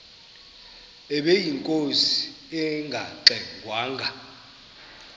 ubeyinkosi engangxe ngwanga